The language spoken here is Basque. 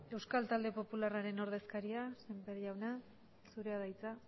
euskal talde popularraren ordezkaria sémper jauna zurea da hitza